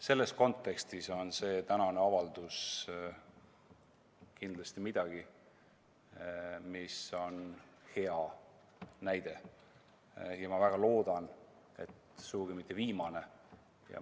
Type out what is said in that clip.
Selles kontekstis on see tänane avaldus kindlasti hea näide ja ma väga loodan, et sugugi mitte viimane.